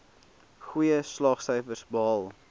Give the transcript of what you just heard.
goeie slaagsyfers behaal